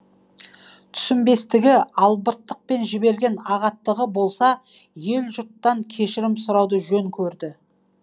түсінбестігі албыртықпен жіберген ағаттығы болса ел жұрттан кешірім сұрауды жөн көрді